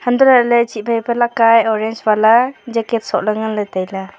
untoh lahley chih phaipa leka e orange wala colour sohley nganley tailey.